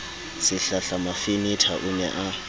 sehlahla mafenetha o ne a